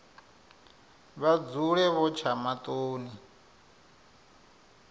vha dzule vho tsha maṱoni